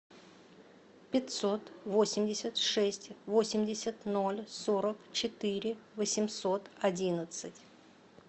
пятьсот восемьдесят шесть восемьдесят ноль сорок четыре восемьсот одиннадцать